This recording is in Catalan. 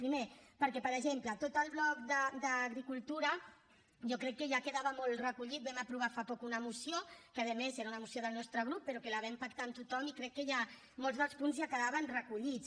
primer perquè per exemple tot el bloc d’agricultura jo crec que ja quedava molt recollit vam aprovar fa poc una moció que a més era una moció del nostre grup però que la vam pactar amb tothom i crec que ja molts dels punts quedaven recollits